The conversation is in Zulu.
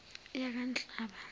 yakanhlaba